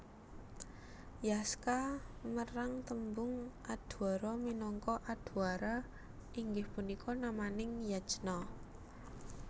Yaska merang tembung Adhwara minangka Adhwara inggih punika namaning yajna